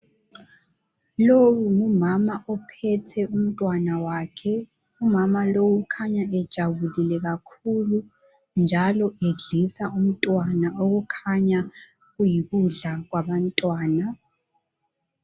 Lowo ngumama ophethe umntwana wakhe, umama lowu ukhanya ejabulile kakhulu njalo edlisa umntwana okukhanya kuyikudla kwabantwana.